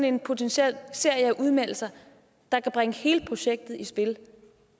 en potentiel serie af udmeldelser der kan bringe hele projektet i spil